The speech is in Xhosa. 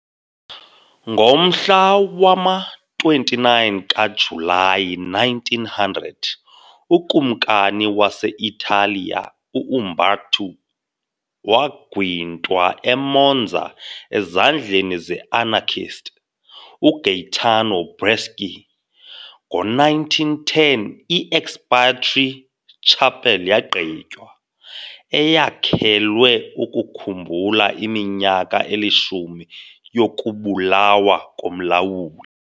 Ngomhla wama-29 kaJulayi 1900, ukumkani wase-Italiya u-Umberto I wagwintwa eMonza ezandleni ze-anarchist uGaetano Bresci . Ngo-1910 i- Expiatory Chapel yagqitywa, eyakhelwe ukukhumbula iminyaka elishumi yokubulawa komlawuli.